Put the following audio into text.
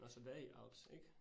Nåh, så det er i alps ik?